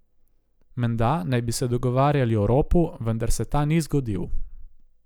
Menda naj bi se dogovarjali o ropu, vendar se ta ni zgodil.